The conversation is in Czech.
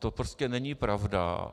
To prostě není pravda.